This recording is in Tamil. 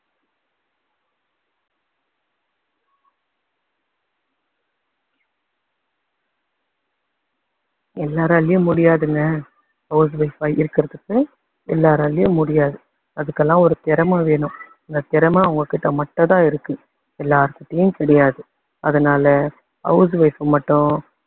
எல்லாராலேயும் முடியாதுங்க house wife ஆ இருக்குறதுக்கு எல்லாராலேயும் முடியாது. அதுக்கெல்லாம் ஒரு திறமை வேணும். அந்த திறமை அவங்ககிட்ட மட்டும் தான் இருக்கு எல்லார்கிட்டேயும் கிடையாது அதனால house wife அ மட்டும்